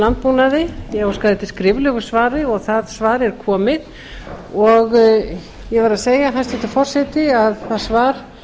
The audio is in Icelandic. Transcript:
landbúnaði ég óskaði eftir skriflegu svari og það svar er komið ég verð að segja hæstvirtur forseti að það svar